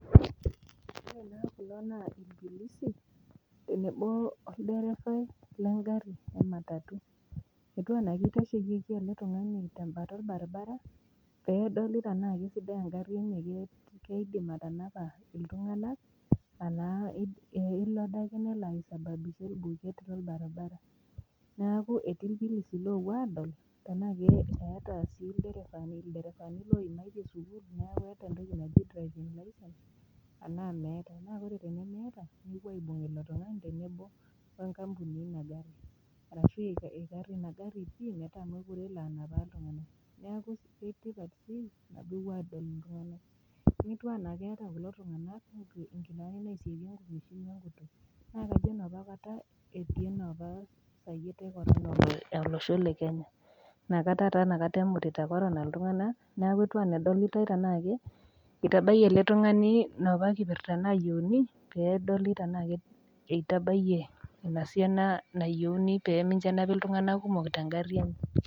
Ore naa kulo naa irpolisi obo wolderefai lengari e matatu, etiu ana kitashieyieki ele tungani tenkalo orbaribara pedoli anaa kesidai engari enye peenap iltunganak pemelo ake nelo aisababisha orbuket lorbaribara, neaku etii irpolisi opuo adol anaa keeta sii lderefani oimaitie sukul eta entoki naji driving licence na ore pemeeta nepuoi aibung ilo tungani enkampuni ina gari pii metaa mekute alo anapaa iltunganak, naijo keeta kulo tunganak nkitambaani na akajo enaapa kata eaatai esayiet e corona enapakata emutita corona iltunganak, itabayiebele tungani enaapa kipirta nayiuni aingura ana eitabayie esiana oltunganak oyieuni nenapi tengari .